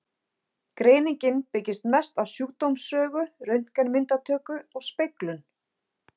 Greiningin byggist mest á sjúkdómssögu, röntgenmyndatöku og speglun.